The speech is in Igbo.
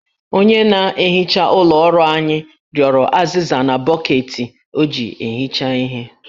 Onye na-ehicha ụlọ ọrụ anyị rịọrọ azịza na bọkeeti o ji ehicha ihe